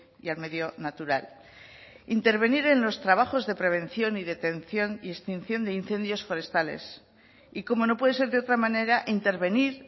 y al medio natural intervenir en los trabajos de prevención y detención y extinción de incendios forestales y como no puede ser de otra manera intervenir